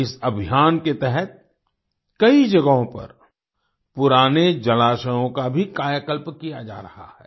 इस अभियान के तहत कई जगहों पर पुराने जलाशयों का भी कायाकल्प किया जा रहा है